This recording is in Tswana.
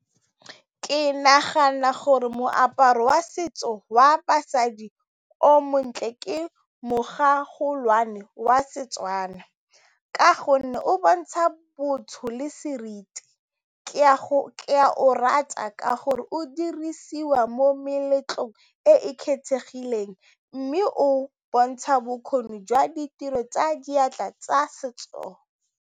Ke nagana gore moaparo wa setso wa basadi o montle ke mo wa Setswana ka gonne o bontsha botho le seriti, ke ya go rata ka gore o dirisiwa mo meletlong e e kgethegileng mme o bontsha bokgoni jwa ditiro tsa diatla tsa setso.